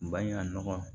Baɲumankɔw